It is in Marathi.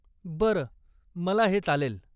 बरं, मला हे चालेल.